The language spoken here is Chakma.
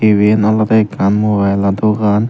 iben olode ekkan mobile o dogan.